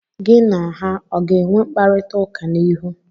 Gị na ha ọ ga-enwe mkparita ụka n'ihu?